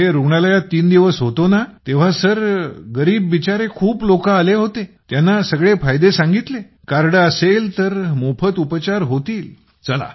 मी तिथे रुग्णालयात तीन दिवस होतोना तेव्हा सर गरीब बिचारे खूप लोक तिथे आले होते त्यांना सगळे फायदे सांगितले कार्ड असेल तर मोफत उपचार होतील